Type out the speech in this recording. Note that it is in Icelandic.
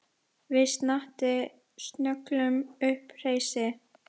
Við Snati slógum upp hreysi.